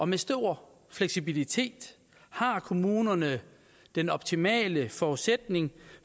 med stor fleksibilitet har kommunerne den optimale forudsætning